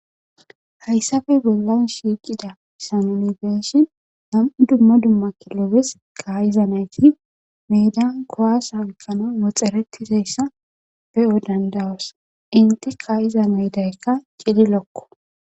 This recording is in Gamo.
Hayssafe bollan shiiqida sanonibeeshin nam'u dumma dumma kilobes kayiza nayti meedan kowasa oykkano woxxaretizayssa be'o dandawas inti kaa'iza meydaykka cidi lokko.